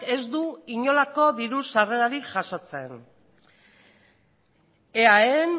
ez du inolako diru sarrerarik jasotzen eaen